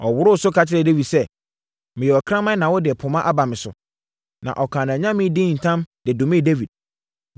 Ɔworoo so kyerɛɛ Dawid sɛ, “Meyɛ ɔkraman na wode poma aba me so?” Na ɔkaa nʼanyame din ntam de domee Dawid.